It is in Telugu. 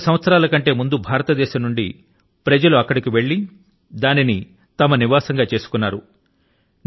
వంద సంవత్సరాల కంటే ముందు భారతదేశం నుండి ప్రజలు అక్కడికి వెళ్లి దానిని తమ నివాసం గా చేసుకున్నారు